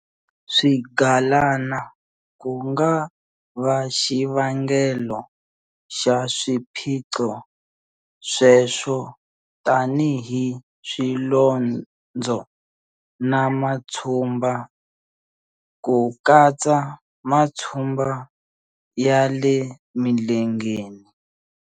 Swigalana ku nga va xivangelo xa swiphiqo sweswo tanihi swilondzo na matshumba, ku katsa matshumba ya le milengeni.